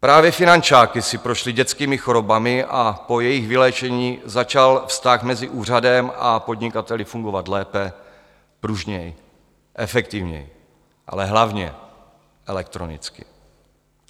Právě finančáky si prošly dětskými chorobami a po jejich vyléčení začal vztah mezi úřadem a podnikateli fungovat lépe, pružněji, efektivněji, ale hlavně elektronicky.